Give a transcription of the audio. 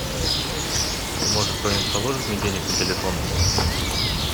может кто нибудь положит мне денег на телефон